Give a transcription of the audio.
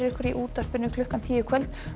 í útvarpi klukkan tíu í kvöld og